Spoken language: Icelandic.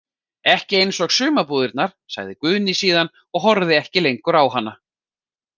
Ekki eins og sumarbúðirnar, sagði Guðný síðan og horfði ekki lengur á hana.